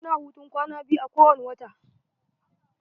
Mu na hutun kwana biyu a kowani wata.